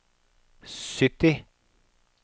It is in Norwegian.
sytti